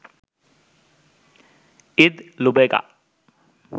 Eid লুবেগা